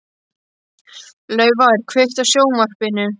Laufar, kveiktu á sjónvarpinu.